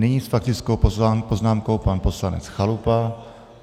Nyní s faktickou poznámkou pan poslanec Chalupa.